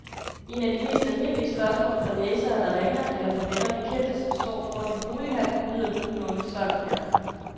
Et af de mest almindelige spørgsmål fra læsere, der ringer, eller fra venner og bekendte, som står foran en bolighandel, lyder nogenlunde sådan her.